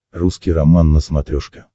русский роман на смотрешке